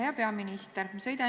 Hea peaminister!